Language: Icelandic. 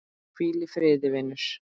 Hvíl í friði, vinur.